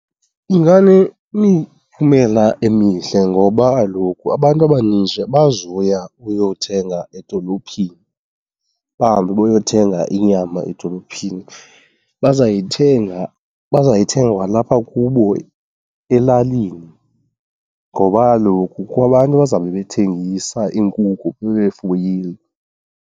Inganemiphumela emihle ngoba kaloku abantu abaninji abazuya uyothenga edolophini, bahambe bayothenga inyama edolophini. Bazayithenga, bazayithenga kwalapha kubo elalini ngoba kaloku kukho abantu abazawube bethengisa iinkukhu, babe befuyile.